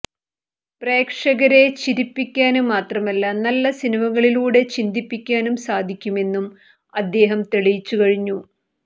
പ്രേക്ഷകരെ ചിരിപ്പിക്കാന് മാത്രമല്ല നല്ല സിനിമകളിലൂടെ ചിന്തിപ്പിക്കാനും സാധിക്കുമെന്നും അദ്ദേഹം തെളിയിച്ചുകഴിഞ്ഞു